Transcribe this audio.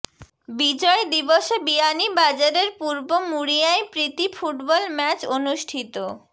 বিজয় দিবসে বিয়ানীবাজারের পূর্ব মুড়িয়ায় প্রীতি ফুটবল ম্যাচ অনুষ্ঠিত